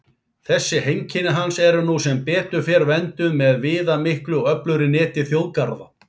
Þessi heimkynni hans eru nú sem betur fer vernduð með viðamiklu og öflugu neti þjóðgarða.